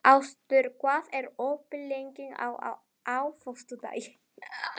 Ásdór, hvað er opið lengi á föstudaginn?